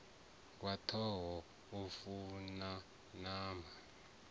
wa tshoṱhe u fana na